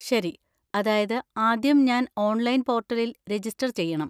ശരി! അതായത് ആദ്യം ഞാൻ ഓൺലൈൻ പോർട്ടലിൽ രജിസ്റ്റർ ചെയ്യണം.